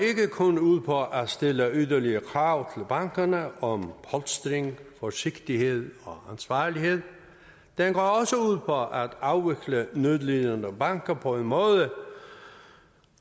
kun ud på at stille yderligere krav til bankerne om polstring forsigtighed og ansvarlighed den går også ud på at afvikle nødlidende banker på en måde